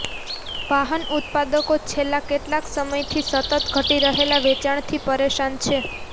વાહન ઉત્પાદકો છેલ્લા કેટલાક સમયથી સતત ઘટી રહેલા વેચાણથી પરેશાન છે